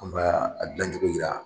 An b'a gilan cogo yira